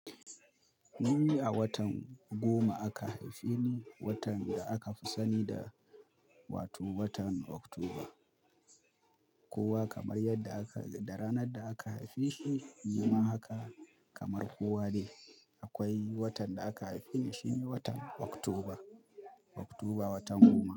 Ni a watan goma aka haife ni, watan da aka fi sani da wato watan Oktoba. Kowa kamar yadda aka, da ranar da aka haife shi, nima haka kamar kowa ne. Akwai watan da aka haife ni shine watan Oktoba, Oktoba watan goma.